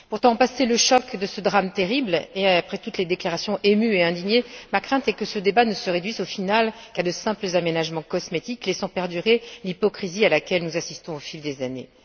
Pourtant, passé le choc de ce drame terrible et après toutes les déclarations émues et indignées, ma crainte est que ce débat ne se réduise au final à de simples aménagements cosmétiques laissant perdurer l'hypocrisie à laquelle nous assistons au fil des années.